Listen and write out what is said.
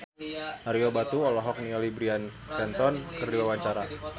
Ario Batu olohok ningali Bryan Cranston keur diwawancara